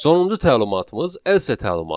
Sonuncu təlimatımız else təlimatıdır.